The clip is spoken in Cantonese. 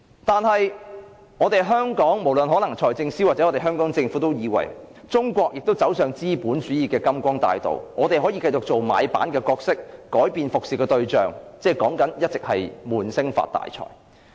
但是，在香港，無論財政司司長或政府都以為，中國走上資本主義的金光大道，我們可以繼續做買辦的角色，改變服務的對象，即一直說的"悶聲發大財"。